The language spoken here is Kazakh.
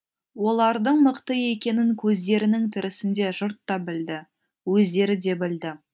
олардың мықты екенін көздерінің тірісінде жұрт та білді өздері де білді